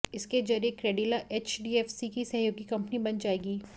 इसके जरिये Credila HDFC की सहयोगी कंपनी बन जाएगी